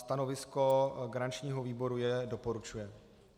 Stanovisko garančního výboru je: doporučuje.